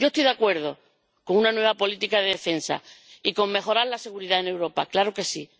Yo estoy de acuerdo con una nueva política de defensa y con mejorar la seguridad en Europa, claro que sí.